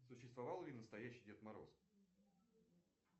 существовал ли настоящий дед мороз